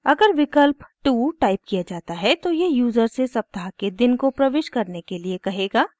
अगर विकल्प 2 टाइप किया जाता है तो यह यूज़र से सप्ताह के दिन को प्रविष्ट करने के लिए कहेगा